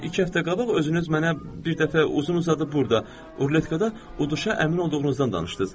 İki həftə qabaq özünüz mənə bir dəfə uzun-uzadı burda ruletkada uduşa əmin olduğunuzdan danışdınız.